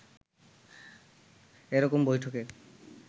এ রকম বৈঠকে